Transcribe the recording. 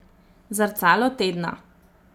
Zrcalo tedna.